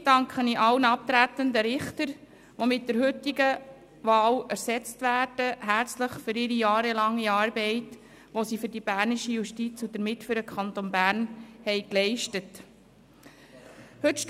Gleichzeitig danke ich herzlich allen abtretenden Richtern, die mit der heutigen Wahl ersetzt werden, für ihre langjährige Arbeit, die sie für die bernische Justiz und somit für den Kanton Bern geleistet haben.